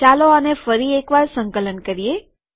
ચાલો આને ફરી એક વાર સંકલન કરીએ